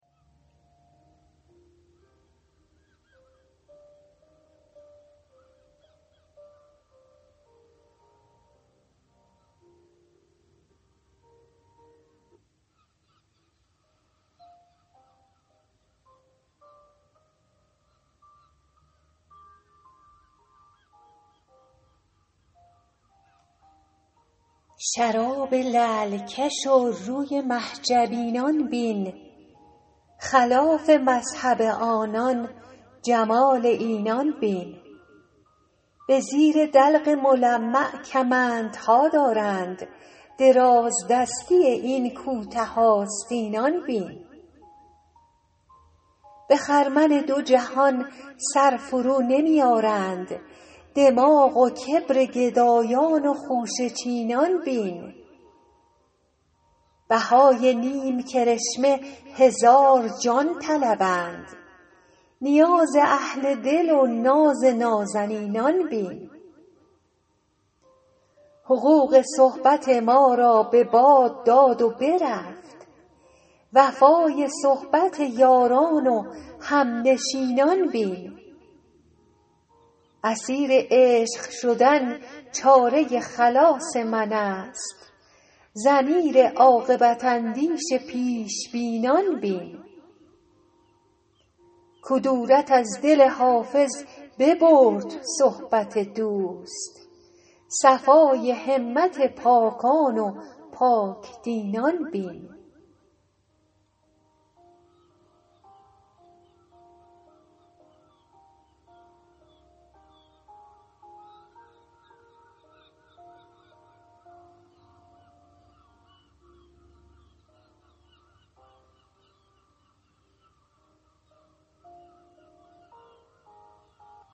شراب لعل کش و روی مه جبینان بین خلاف مذهب آنان جمال اینان بین به زیر دلق ملمع کمندها دارند درازدستی این کوته آستینان بین به خرمن دو جهان سر فرونمی آرند دماغ و کبر گدایان و خوشه چینان بین بهای نیم کرشمه هزار جان طلبند نیاز اهل دل و ناز نازنینان بین حقوق صحبت ما را به باد داد و برفت وفای صحبت یاران و همنشینان بین اسیر عشق شدن چاره خلاص من است ضمیر عاقبت اندیش پیش بینان بین کدورت از دل حافظ ببرد صحبت دوست صفای همت پاکان و پاک دینان بین